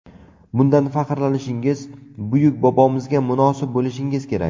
Bundan faxrlanishingiz, buyuk bobomizga munosib bo‘lishingiz kerak.